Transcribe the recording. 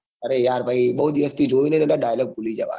અરે યાર બૌ દિવસ થી જોઈ ની એટલે dialogue ભૂલી જવાય છે